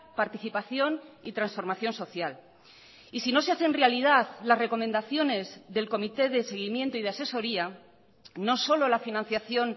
participación y transformación social y si no se hacen realidad las recomendaciones del comité de seguimiento y de asesoría no solo la financiación